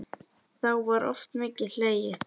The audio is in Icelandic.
Þá var oft mikið hlegið.